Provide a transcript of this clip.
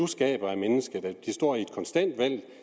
skaber af mennesket er at det står i et konstant valg